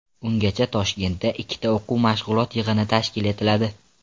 Ungacha Toshkentda ikkita o‘quv-mashg‘ulot yig‘ini tashkil etiladi.